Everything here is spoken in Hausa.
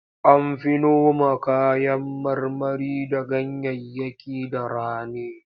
An fi noma kayan marmari da ganyayyaki da rani.